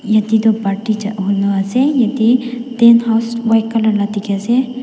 Yatheh toh party ja huno ase yatheh tent house white colour la dekhey ase.